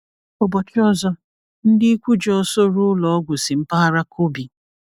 Ụbọchị ọzọ, ndị ikwu ji ọsọ ruo ụlọ ọgwụ si mpaghara Kobe.